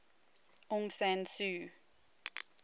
aung san suu